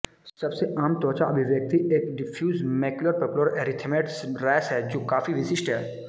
सबसे आम त्वचा अभिव्यक्ति एक diffuse macular papular erythematous rash है जो काफी विशिष्ट है